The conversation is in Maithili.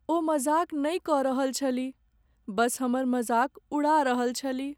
ओ मजाक नहि कऽ रहल छलीह, बस हमर मजाक उड़ा रहल छलीह।